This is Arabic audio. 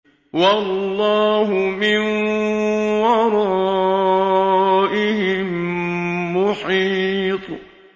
وَاللَّهُ مِن وَرَائِهِم مُّحِيطٌ